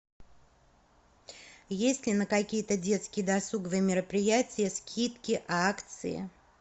есть ли на какие то детские досуговые мероприятия скидки акции